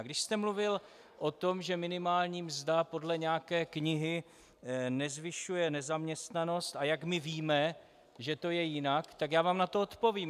A když jste mluvil o tom, že minimální mzda podle nějaké knihy nezvyšuje nezaměstnanost, a jak my víme, že to je jinak, tak já vám na to odpovím.